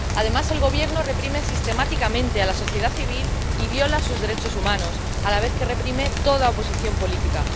Además, el gobierno reprime sistemáticamente a la sociedad civil y viola sus derechos humanos, a la vez que reprime toda oposición política.